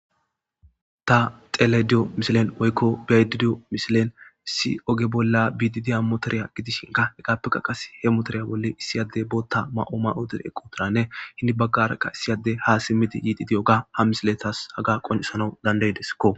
ta xelayda diyo misilen woykko bi7ayda diyo misilen issi oge bolla biidi diya motoriya gidishinka hegaappeka qas he motoriya bolla issi ade bootta ma7o ma7uttidekko eqqutiranne hini baggarakka issi ade ha simmidi yiidi oga ha misiletas haga qoncisanawu dandayideskko.